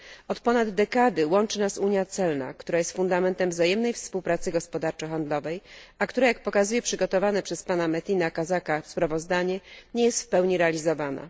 Od ponad dekady łączy nas unia celna, która jest fundamentem wzajemnej współpracy gospodarczo handlowej, a która jak pokazuje przygotowane przez pana Metina Kazaka sprawozdanie nie jest w pełni realizowana.